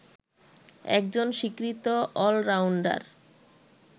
একজন স্বীকৃত অলরাউন্ডার